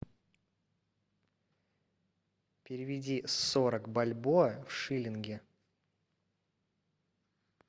переведи сорок бальбоа в шиллинги